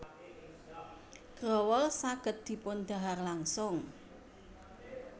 Growol saged dipundhahar langsung